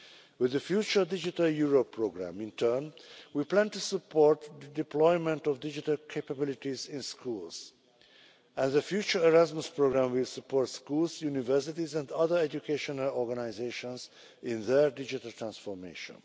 With the future Digital Europe programme, in turn, we plan to support the deployment of digital capabilities in schools, and the future Erasmus programme will support schools, universities and other educational organisations in their digital transformation.